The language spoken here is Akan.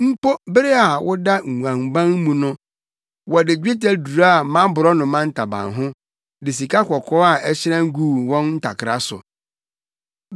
Mpo bere a woda nguanban mu no, wɔde dwetɛ duraa mʼaborɔnoma ntaban ho, de sikakɔkɔɔ a ɛhyerɛn guu wɔn ntakra so.”